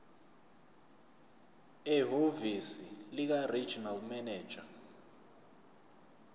ehhovisi likaregional manager